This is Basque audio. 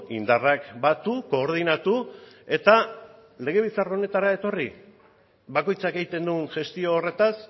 indarrak batu koordinatu eta legebiltzar honetara etorri bakoitzak egiten duen gestio horretaz